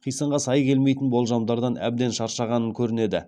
қисынға сай келмейтін болжамдардан әбден шаршағанын көрінеді